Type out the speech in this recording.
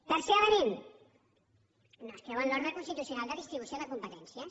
tercer element no es creuen l’ordre constitucional de distribució de competències